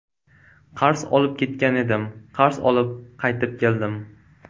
Qarz olib ketgan edim, qarz olib qaytib keldim.